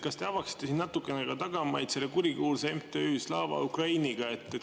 Kas te avaksite natuke tagamaid seoses selle kurikuulsa MTÜ Slava Ukrainiga?